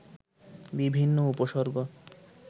বিভিন্ন উপসর্গ